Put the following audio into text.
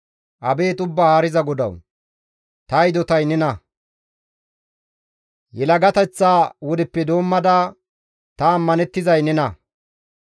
Abeet Ubbaa Haariza GODAWU! Ta hidotay nena; yelagateththa wodeppe doommada ta ammanettizay nena.